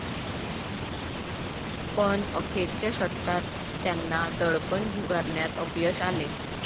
पण अखेरच्या षटकात त्यांना दडपण झुगारण्यात अपयश आले.